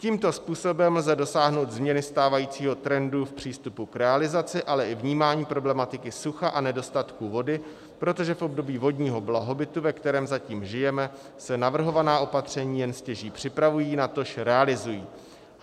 Tímto způsobem lze dosáhnout změny stávajícího trendu v přístupu k realizaci, ale i vnímání problematiky sucha a nedostatku vody, protože v období vodního blahobytu, ve kterém zatím žijeme, se navrhovaná opatření jen stěží připravují, natož realizují.